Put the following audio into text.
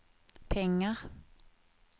pengar